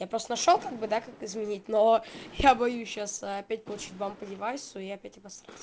я просто нашёл как бы да как изменить но я боюсь сейчас опять получить бан по девайсу и опять обосраться